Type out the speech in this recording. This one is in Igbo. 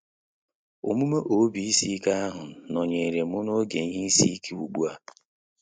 Omume ob ísī ike ahụ nọnyerem n'oge ihe isi ike ugbua